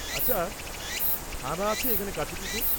আচ্ছা, থানা আছে এখানে কাছেপিঠে?